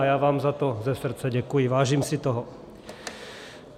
A já vám za to ze srdce děkuji, vážím si toho.